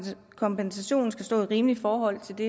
kompensationen skal stå i et rimeligt forhold til det